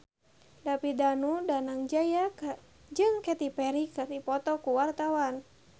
David Danu Danangjaya jeung Katy Perry keur dipoto ku wartawan